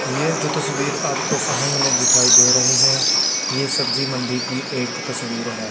यह जो तस्वीर आपको सामने दिखाई दे रही है यह सब्जी मंडी की एक तस्वीर हैं।